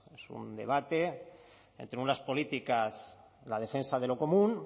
es un debate entre unas políticas la defensa de lo común